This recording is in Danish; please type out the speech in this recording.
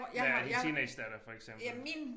Ja din teenagedatter for eksempel